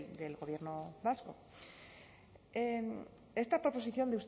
del gobierno vasco esta proposición